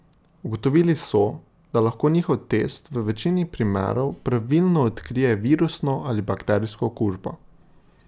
Ugotovili so, da lahko njihov test v večini primerov pravilno odkrije virusno ali bakterijsko okužbo.